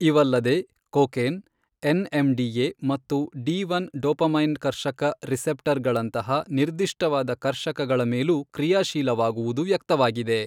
ಇವಲ್ಲದೆ, cocaine NMDA ಮತ್ತು D one dopamine ಕರ್ಷಕ receptor ಗಳಂತಹ ನಿರ್ದಿಷ್ಟವಾದ ಕರ್ಷಕಗಳ ಮೇಲೂ ಕ್ರಿಯಾಶೀಲವಾಗುವುದು ವ್ಯಕ್ತವಾಗಿದೆ.